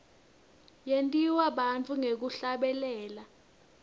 yentiwa bantfu ngekuhlabelela